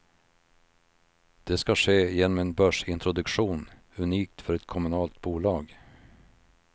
Det ska ske genom en börsintroduktion, unikt för ett kommunalt bolag.